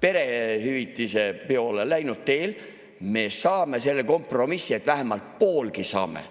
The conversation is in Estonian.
perehüvitise poole läinud teele, me saame selle kompromissi, et vähemalt poolegi saame.